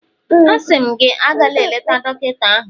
Asị m gị, agala eleta dọkịta ahụ